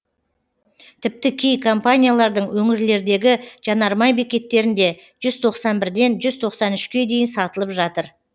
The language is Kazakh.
тіпті кей компаниялардың өңірлердегі жанармай бекеттерінде жүз тоқсан бірден жүз тоқсан үшке дейін сатылып жатыр